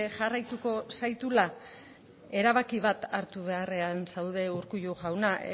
jarraituko zaitula erabaki bat hartu beharrean zaude urkullu jauna